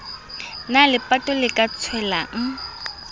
na lepato le ka tswelang